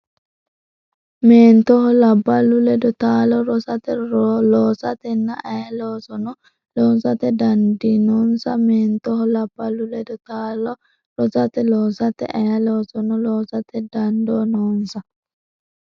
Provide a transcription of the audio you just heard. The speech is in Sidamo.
Meentoho labballu ledo taalo rosate, loosatenna ayee loosono loosate dandii noonsa Meentoho labballu ledo taalo rosate, loosatenna ayee loosono loosate dandii noonsa.